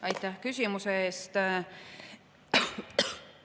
Aitäh küsimuse eest!